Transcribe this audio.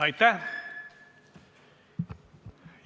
Aitäh!